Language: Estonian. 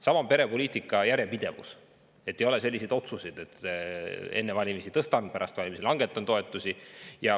Samuti perepoliitika järjepidevus: et ei tehtaks selliseid otsuseid, et enne valimisi tõstame toetusi ja pärast valimisi langetame neid.